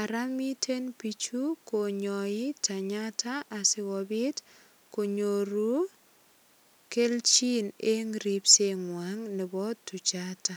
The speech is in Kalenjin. Ara miten biik chu konyoi tanyata asigopit konyoru kelchin eng ripsengang nebo tuchata.